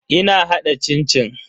Ina hada cin-cin.